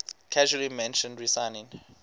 casually mentioned resigning